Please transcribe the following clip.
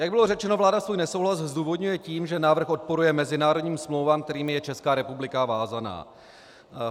Jak bylo řečeno, vláda svůj nesouhlas zdůvodňuje tím, že návrh odporuje mezinárodním smlouvám, kterými je Česká republika vázána.